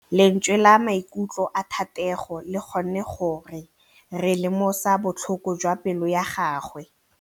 Lentswe la maikutlo a Thategô le kgonne gore re lemosa botlhoko jwa pelô ya gagwe.